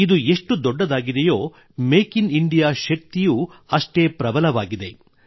ಇದು ಎಷ್ಟು ದೊಡ್ಡದಾಗಿದೆಯೋ ಮೇಕ್ ಇನ್ ಇಂಡಿಯಾ ಶಕ್ತಿಯೂ ಅಷ್ಟೇ ಪ್ರಬಲವಾಗಿದೆ